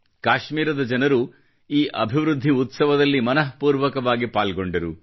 ಕಾಶ್ಮೀರದ ಜನರು ಈ ಅಭಿವೃದ್ಧಿ ಉತ್ಸವದಲ್ಲಿ ಮನಃಪೂರ್ವಕವಾಗಿ ಪಾಲ್ಗೊಂಡರು